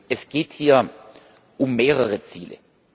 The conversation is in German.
Es geht hier um mehrere Ziele.